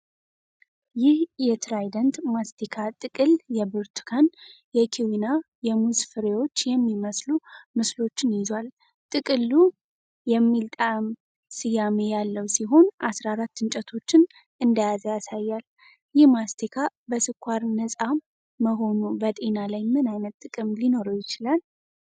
ይህ የትራይደንት ማስቲካ ጥቅል የብርቱካን፣ የኪዊና የሙዝ ፍሬዎች የሚመስሉ ምስሎችን ይዟል። ጥቅሉ 'Tropical Twist' የሚል ጣዕም ስያሜ ያለው ሲሆን፣ 14 እንጨቶችን እንደያዘ ያሳያል። ይህ ማስቲካ በስኳር ነጻ መሆኑ በጤና ላይ ምን ዓይነት ጥቅም ሊኖረው ይችላል?